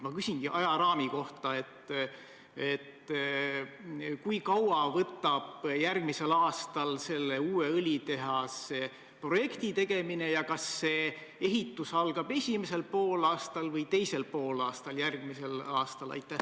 Ma küsingi ajaraami kohta: kui kaua võtab järgmisel aastal aega uue õlitehase projekti tegemine ja kas see ehitus algab esimesel poolaastal või teisel poolaastal järgmisel aastal?